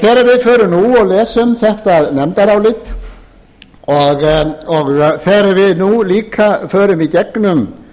förum nú og lesum þetta nefndarálit og þegar við nú líka förum í gegnum